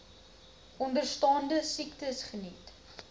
onderstaande siektes geniet